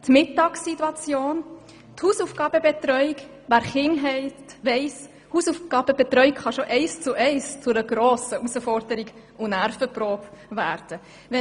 Wer Kinder hat, kennt die Hausaufgabenbetreuung und weiss, dass sie zu einer grossen Herausforderung und Nervenprobe werden kann.